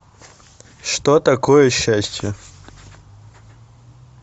что такое счастье